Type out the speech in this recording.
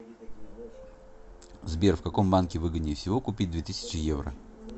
сбер в каком банке выгоднее всего купить две тысячи евро